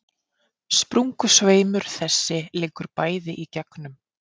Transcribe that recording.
Sprungusveimur þessi liggur bæði í gegnum